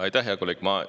Aitäh, hea kolleeg!